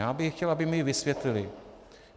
Já bych chtěl, aby mi ji vysvětlily.